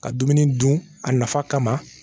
Ka dumuni dun a nafa kama